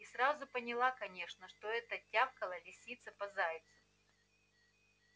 и сразу поняла конечно что это тявкала лисица по зайцу